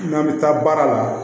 N'an bɛ taa baara la